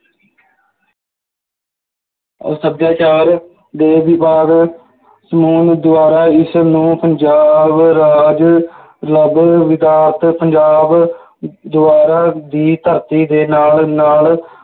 ਸੱਭਿਆਚਾਰ ਦੇ ਵਿਭਾਗ ਸਕੂਲ ਦੁਆਰਾ ਇਸ ਨੂੰ ਪੰਜਾਬ ਰਾਜ ਵਿਕਾਸ ਪੰਜਾਬ ਦੁਆਰਾ ਦੀ ਧਰਤੀ ਦੇ ਨਾਲ ਨਾਲ